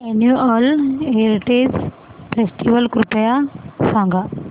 annual heritage festival कृपया सांगा